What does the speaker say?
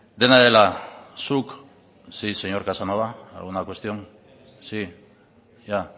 dena dela zuk sí señor casanova alguna cuestión sí ya